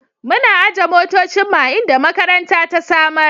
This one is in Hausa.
Muna aje motocinmu a inda makaranta ta samar.